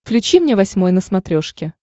включи мне восьмой на смотрешке